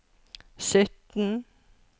sytten